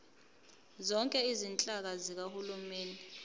zonke izinhlaka zikahulumeni